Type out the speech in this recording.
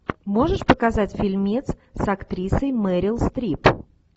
можешь показать фильмец с актрисой мерил стрип